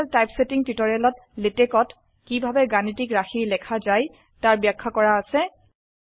mathematical typesetting টিউটোৰিয়েলত LaTeX ত কিভাবে গাণিতিক ৰাশি লেখা যায় তাৰ ব্যাখ্যা কৰা আছে